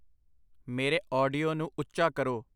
ਮੇਰੇ ਆਡੀਓ ਨੂੰ ਉੱਚਾ ਕਰੋ